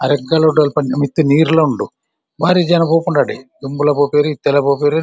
ಅಲ್ಪ ಮಿತ್ತ್‌ ನೀರುಲ ಉಂಡು ಬಾರಿ ಜನ ಪೋಪುಂಡು ಅಡೆ ದುಂಬುಲ ಪೋಪೆರ್‌ ಇತ್ತೆಲ ಪೋಪೆರ್.